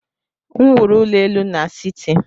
M wuru ụlọ elu n'siti.